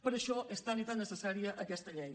per això és tan i tan necessària aquesta llei